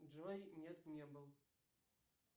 джой нет не был